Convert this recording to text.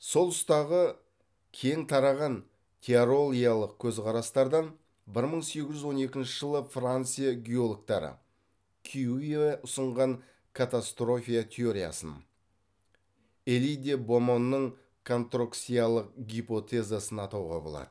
сол тұстағы кең тараған теоролиялық көзқарастардан бір мың сегіз жүз он екінші жылы франция геологтары кьюве ұсынған катастрофия теориясын эли де бомонның контрокциялық гипотезасын атауға болады